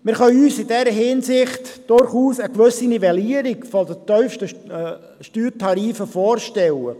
Wir können uns in dieser Hinsicht durchaus eine gewisse Nivellierung der tiefsten Steuertarife vorstellen.